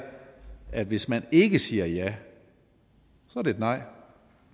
at hvis man ikke siger ja er det et nej